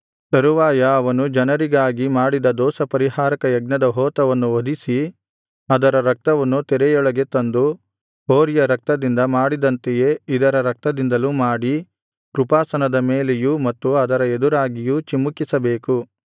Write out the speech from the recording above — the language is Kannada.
ತರುವಾಯ ಅವನು ಜನರಿಗಾಗಿ ಮಾಡಿದ ದೋಷಪರಿಹಾರಕ ಯಜ್ಞದ ಹೋತವನ್ನು ವಧಿಸಿ ಅದರ ರಕ್ತವನ್ನು ತೆರೆಯೊಳಗೆ ತಂದು ಹೋರಿಯ ರಕ್ತದಿಂದ ಮಾಡಿದಂತೆಯೇ ಇದರ ರಕ್ತದಿಂದಲೂ ಮಾಡಿ ಕೃಪಾಸನದ ಮೇಲೆಯೂ ಮತ್ತು ಅದರ ಎದುರಾಗಿಯೂ ಚಿಮುಕಿಸಬೇಕು